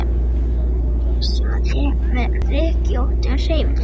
á meðan hún ryksugaði með rykkjóttum hreyfingum.